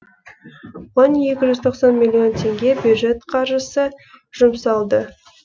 оған екі жүз тоқсан миллион теңге бюджет қаржысы жұмсалды